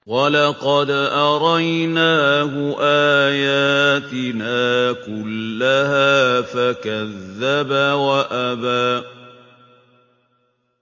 وَلَقَدْ أَرَيْنَاهُ آيَاتِنَا كُلَّهَا فَكَذَّبَ وَأَبَىٰ